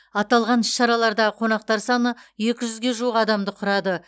аталған іс шараларда қонақтар саны екі жүзге жуық адамды құрады